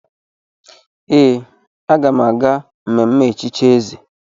Ee, aga m aga mmemme echichi eze.